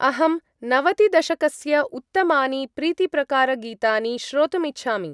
अहं नवतिदशकस्य उत्तमानि प्रीतिप्रकार-गीतानि श्रोतुम् इच्छामि।